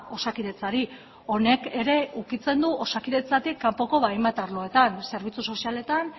osakidetzari honek ere ukitzen du osakidetzatik kanpoko hainbat arloetan zerbitzu sozialetan